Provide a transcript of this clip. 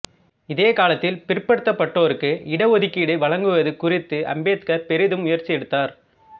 இதே காலத்தில் பிற்படுத்தப்பட்டோருக்கு இட ஒதுக்கீடு வழங்குவது குறித்து அம்பேத்கர் பெரிதும் முயற்சி எடுத்தார்